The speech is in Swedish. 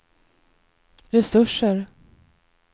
resurser